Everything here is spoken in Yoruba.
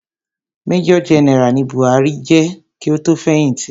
Major general ni Muhammadu Buhari je ki o tó fẹ̀hìtì.